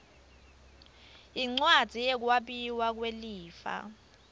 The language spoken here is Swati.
yincwadzi yekwabiwa kwelifa